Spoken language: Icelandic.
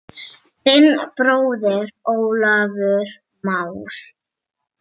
Þinn bróðir Ólafur Már.